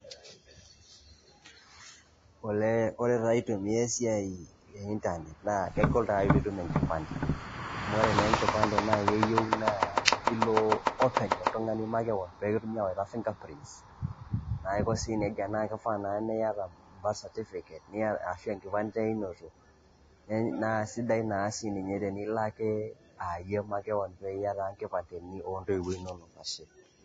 olee ore taa aitumia esiai e internet naa kegol taa pee itum enkipande, ore naa enkipande keyieu naa ilo openy oltungani makewon pee kitumokini aawaita finger prints naiko sii nejia, naa kifaa naa niyata birth certificate niyata ashu enkipande einoto, naa eisidai naa tenilo aa iyie ake makewon niya naa nkipandeni oo ntoiwuo inonok.